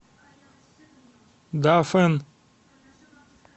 дафэн